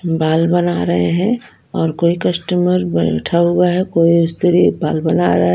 बाल बना रहे हैंऔर कोई कस्टमर बैठा हुआ है कोई स्त्री बाल बना रहा है।